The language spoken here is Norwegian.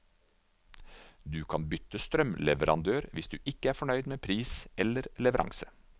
Du kan bytte strømleverandør hvis du ikke er fornøyd med pris eller leveranse.